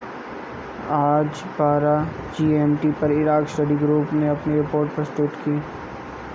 आज 12.00 gmt पर Iraq study group ने अपनी रिपोर्ट प्रस्तुत की